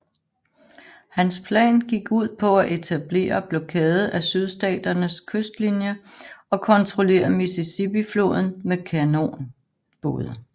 Hans plan gik ud på at etablere blokade af Sydstaternes kystlinie og kontrollere Mississippifloden med kanonbåde